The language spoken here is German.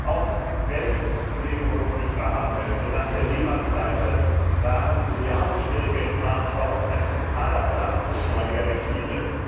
Auch wenn es Kollege Woolfe nicht wahrhaben möchte Nach der Lehman Pleite waren milliardenschwere Geldmarktfonds ein zentraler Brandbeschleuniger der Krise.